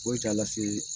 Foyi t'a lase